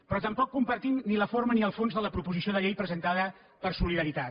però tampoc compartim ni la forma ni el fons de la proposició de llei presentada per solidaritat